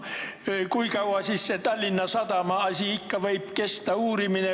Kui kaua see Tallinna Sadama asi ikka võib kesta?